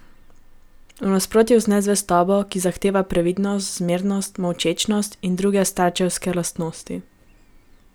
V nasprotju z nezvestobo, ki zahteva previdnost, zmernost, molčečnost in druge starčevske lastnosti.